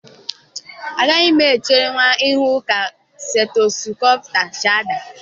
Agaghị m echerenwu ịhụ ka stetosụkopụ si adị